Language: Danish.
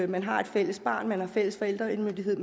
man har et fælles barn og man har fælles forældremyndighed